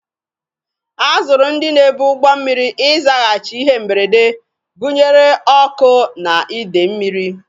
A zụrụ ndị na-ebu ụgbọ mmiri ịzaghachi ihe mberede, gụnyere ọkụ na idei mmiri.